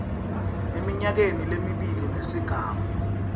eminyakeni lemibili nesigamu